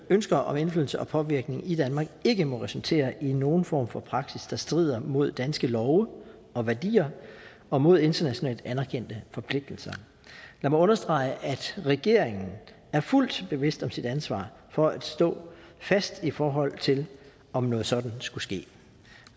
ønsker om indflydelse og påvirkning i danmark ikke må resultere i nogen form for praksis der strider mod danske love og værdier og mod internationalt anerkendte forpligtelser lad mig understrege at regeringen er fuldt bevidst om sit ansvar for at stå fast i forhold til om noget sådant skulle ske